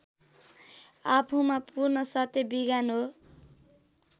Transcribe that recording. आफूमा पूर्ण सत्य विज्ञान हो